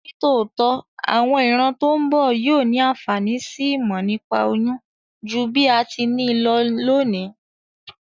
Nítòótó, àwon ìran to n bo yio ni ànfàní si ìmò nípa oyún ju bí a ti ni lo lónìí